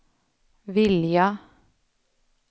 vilja